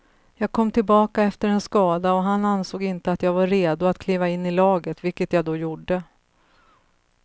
Jag kom tillbaka efter en skada och han ansåg inte att jag var redo att kliva in i laget, vilket jag då gjorde.